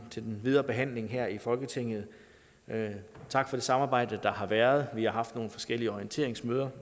videre behandling her i folketinget tak for det samarbejde der har været vi har haft nogle forskellige orienteringsmøder